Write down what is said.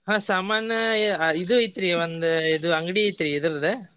ಹ್ಮ್ ಸಾಮಾನ್ ಇದು ಐತ್ರಿ ಒಂದ್ ಇದು ಅಂಗಡಿ ಐತ್ರಿ ಇದರ್ದ.